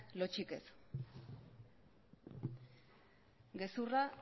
lotsarik ez gezurra